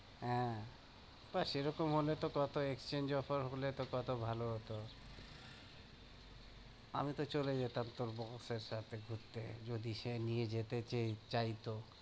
হ্যাঁ, কয় সেরকম হলে তো কত exchange offer হলে তো কত ভালো হতো আমি তো চলে যেতাম তোর boss এর সাথে ঘুরতে, যদি সে নিয়ে যেতে চাইতো।